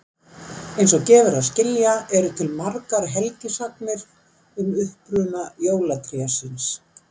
Eins og gefur að skilja eru til margar helgisagnir um uppruna jólatrésins.